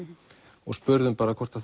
og spurðum hvort